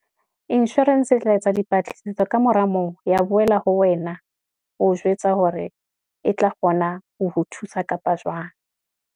Insurance e tla etsa dipatlisiso ka mora moo, ya boela ho wena, ho jwetsa hore e tla kgona ho ho thusa kapa jwang.